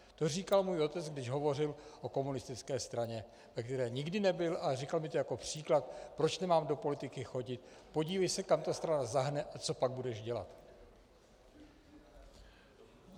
To říkal můj otec, když hovořil o komunistické straně, ve které nikdy nebyl, ale říkal mi to jako příklad, proč nemám do politiky chodit: Podívej se, kam ta strana zahne, a co pak budeš dělat?